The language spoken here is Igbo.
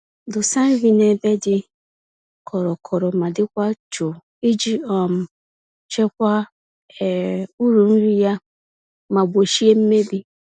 Dosa nri n'ebe dị kọrọ-kọrọ ma dịkwa jụụ, iji um chekwaa um uru nri ya ma gbochie mmebi.